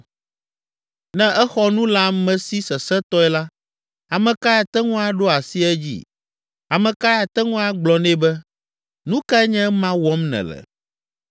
Ne exɔ nu le ame si sesẽtɔe la, ame kae ate ŋu aɖo asi edzi? Ame kae ate ŋu agblɔ nɛ be, ‘Nu kae nye ema wɔm nèle?’